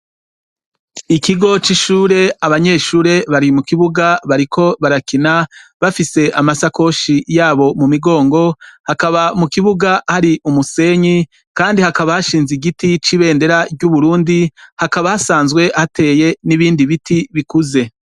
ikigo c'ishure abanyeshure bari mu kibuga bariko barakina bafise amasakoshi yabo mu migongo hakaba mu kibuga hari umusenyi kandi hakaba hashinze igiti c'ibendera ry'uburundi hakaba hasanzwe hateye n'ibindi biti bikuze